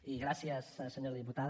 i gràcies senyora diputada